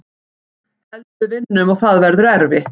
Held við vinnum og það verður erfitt.